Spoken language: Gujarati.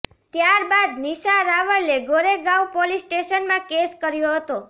ત્યારબાદ નિશા રાવલે ગોરેગાવ પોલીસ સ્ટેશનમાં કેસ કર્યો હતો